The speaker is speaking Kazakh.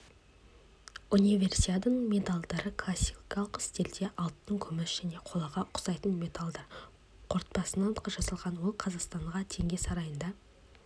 универсиаданың медальдары классикалық стильде алтын күміс және қолаға ұқсайтын металдар қорытпасынан жасалған ол қазақстан теңге сарайында